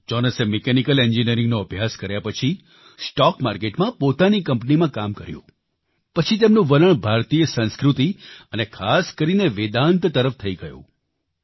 જોનસે mechanical એન્જિનિયરિંગનો અભ્યાસ કર્યા પછી સ્ટોક માર્કેટમાં પોતાની કંપનીમાં કામ કર્યું પછી તેમનું વલણ ભારતીય સંસ્કૃતિ અને ખાસ કરીને વેદાન્ત તરફ થઈ ગયું